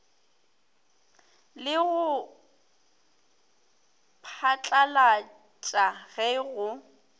le go phatlalatša ge go